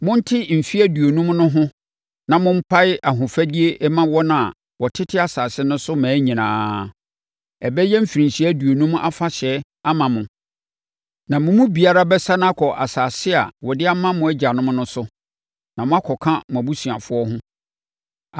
Monte mfeɛ aduonum no ho na mompae ahofadie mma wɔn a wɔtete asase no so mmaa nyinaa. Ɛbɛyɛ mfirinhyia aduonum afahyɛ ama mo, na mo mu biara bɛsane akɔ asase a wɔde ama mo agyanom no so, na moakɔka mo abusuafoɔ ho.